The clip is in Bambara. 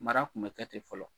Mara tun bɛ kɛ te fɔlɔ.